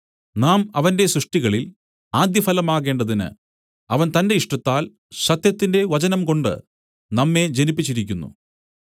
നാം അവന്റെ സൃഷ്ടികളിൽ ആദ്യഫലമാകേണ്ടതിന് അവൻ തന്റെ ഇഷ്ടത്താൽ സത്യത്തിന്റെ വചനംകൊണ്ട് നമ്മെ ജനിപ്പിച്ചിരിക്കുന്നു